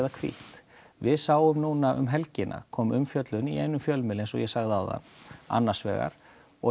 hvítt við sáum núna um helgina að kom umfjöllun í fjölmiðli eins og ég sagði áðan annars vegar og